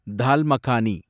தால் makhani